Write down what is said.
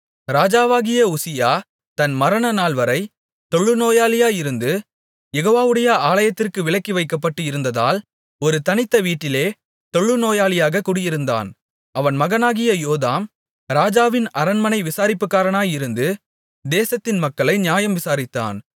ராஜாவாகிய உசியா தன் மரணநாள்வரை தொழுநோயாளியாயிருந்து யெகோவாவுடைய ஆலயத்திற்குப் விலக்கி வைக்கப்பட்டு இருந்ததால் ஒரு தனித்த வீட்டிலே தொழுநோயாளியாக குடியிருந்தான் அவன் மகனாகிய யோதாம் ராஜாவின் அரண்மனை விசாரிப்புக்காரனாயிருந்து தேசத்தின் மக்களை நியாயம் விசாரித்தான்